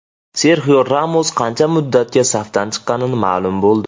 Serxio Ramos qancha muddatga safdan chiqqani ma’lum bo‘ldi.